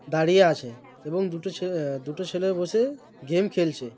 দাড়িয়ে আছে। এবং দুটো ছে আহ দুটো ছেলে বসে গেম খেলছে।